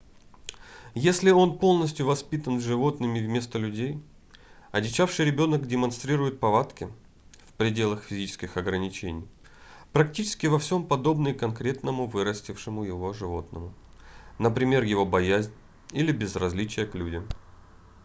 если он полностью воспитан животными вместо людей одичавший ребенок демонстрирует повадки в пределах физических ограничений практически во всем подобные конкретному вырастившему его животному — например его боязнь или безразличие к людям